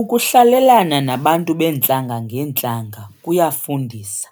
Ukuhlalelana nabantu beentlanga ngeentlanga kuyafundisa.